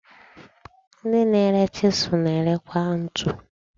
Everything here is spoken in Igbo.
Ndị na-ere chisụl na-ere kwa ntu.